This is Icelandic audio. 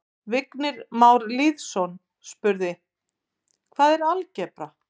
Vignir Már Lýðsson spurði: Hvað er algebra?